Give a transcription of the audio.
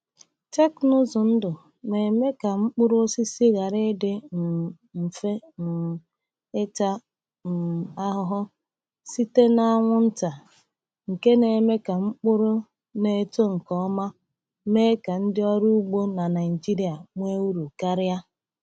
Teknụzụ ndụ na-eme ka mkpụrụ osisi ghara ịdị um mfe um ịta um ahụhụ site n’anwụ nta, nke na-eme ka mkpụrụ na-eto nke ọma ma mee ka ndị ọrụ ugbo na Naijiria nwee uru karịa.